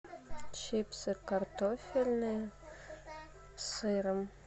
чипсы картофельные с сыром